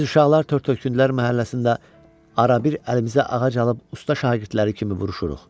Biz uşaqlar tört-töküntülər məhəlləsində arabir əlimizə ağac alıb usta şagirdləri kimi vuruşuruq.